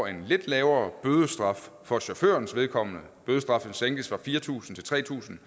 en lidt lavere bødestraf for chaufførens vedkommende bødestraffen sænkes fra fire tusind til tre tusind